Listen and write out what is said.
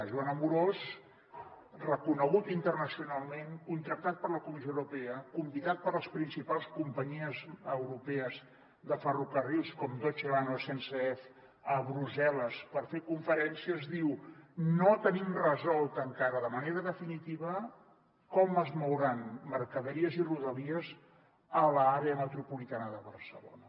joan amorós reconegut internacionalment contractat per la comissió europea convidat per les principals companyies europees de ferrocarrils com deutsche bahn o sncf a brussel·les per fer conferències diu no tenim resolt encara de manera definitiva com es mouran mercaderies i rodalies a l’àrea metropolitana de barcelona